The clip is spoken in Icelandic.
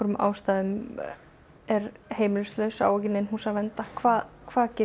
er heimilislaus á ekki í nein hús að venda hvað hvað get ég gert